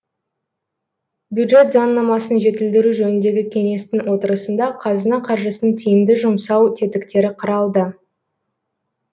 бюджет заңнамасын жетілдіру жөніндегі кеңестің отырысында қазына қаржысын тиімді жұмсау тетіктері қаралды